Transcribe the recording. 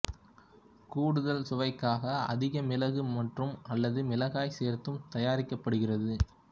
கூடுதல் சுவைக்காக அதிக மிளகு மற்றும்அல்லது மிளகாய் சேர்த்தும் தயாரிக்கப்படுகிறது